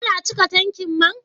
An cika tankin man?